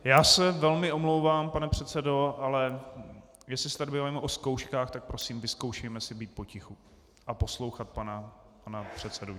Já se velmi omlouvám, pane předsedo, ale jestli se tady bavíme o zkouškách, tak prosím, vyzkoušejme si být potichu a poslouchat pana předsedu.